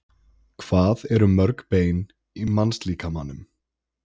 hvað eru mörg bein í mannslíkamanum